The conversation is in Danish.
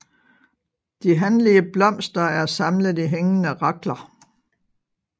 De hanlige blomster er samlet i hængende rakler